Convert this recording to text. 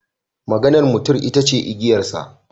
Maganar mutum ita ce igiyarsa.